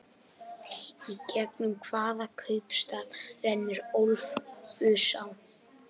Í gegnum hvaða kaupstað rennur Ölfusá?